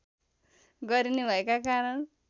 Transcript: गरिने भएका कारण